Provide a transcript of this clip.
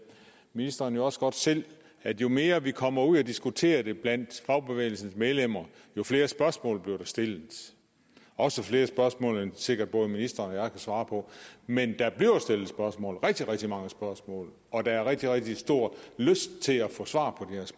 ministeren også godt selv at jo mere vi kommer ud at diskutere det blandt fagbevægelsens medlemmer jo flere spørgsmål bliver der stillet også flere spørgsmål end sikkert både ministeren og svare på men der bliver stillet spørgsmål rigtig rigtig mange spørgsmål og der er rigtig rigtig stor lyst til at få svar